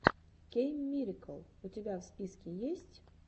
кейммирикл у тебя в списке есть